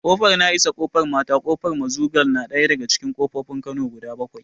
Ƙofar na'isa, ƙofar mata, ƙofar mazugal na daga cikin ƙofofin kano guda bakwai